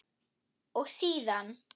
og síðan